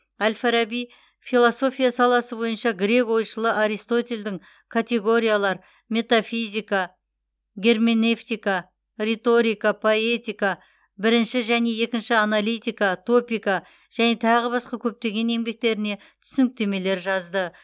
әл фараби философия саласы бойынша грек ойшылы аристотельдің категориялар метафизика герменевтика риторика поэтика бірінші және екінші аналитика топика және тағы басқа көптеген еңбектеріне түсініктемелер жазды